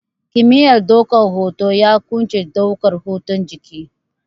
Kimiyar ɗaukan hoto ya ƙunshi ɗaukan hotun jiki